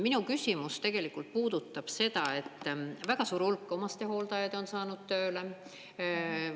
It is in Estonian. Minu küsimus puudutab seda, et väga suur hulk omastehooldajad on saanud tööle.